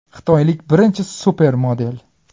Xitoylik birinchi supermodel.